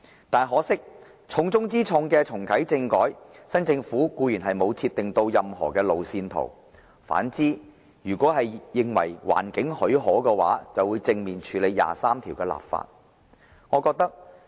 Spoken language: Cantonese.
不過，很可惜，就重中之重的重啟政改，新政府沒有設定任何路線圖，反而表明如果環境許可，會正面處理就《基本法》第二十三條立法。